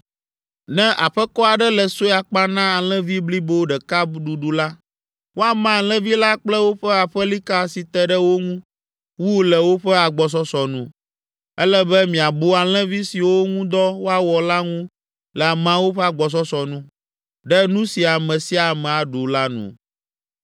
Ne aƒekɔ aɖe le sue akpa na alẽvi blibo ɖeka ɖuɖu la, woama alẽvi la kple woƒe aƒelika si te ɖe wo ŋu wu le woƒe agbɔsɔsɔ nu. Ele be miabu alẽvi siwo ŋu dɔ woawɔ la ŋu le ameawo ƒe agbɔsɔsɔ nu, ɖe nu si ame sia ame aɖu la nu.